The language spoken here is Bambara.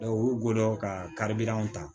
u gɔbɔn ka kari bilanw ta